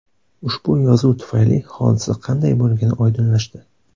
Ushbu yozuv tufayli hodisa qanday bo‘lgani oydinlashdi.